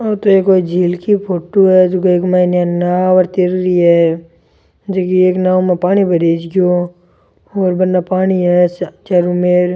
ओ तो कोई एक झील की फोटो है जको इक मायने एक नांव तीर रही है जकी एक नांव में पानी भरिजगो और बने पानी है चारो मेर।